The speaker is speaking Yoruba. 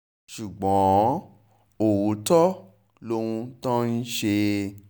ṣùgbọ́n ọ̀tọ̀ lohun tó ń ṣe é